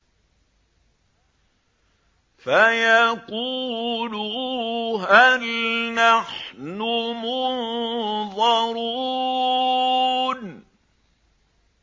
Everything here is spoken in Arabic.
فَيَقُولُوا هَلْ نَحْنُ مُنظَرُونَ